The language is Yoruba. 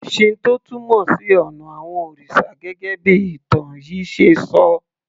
Shinto túmọ̀ sí ònà àwon òrìsà gẹ́gẹ́ bí ìtàn yìí ṣe ṣọ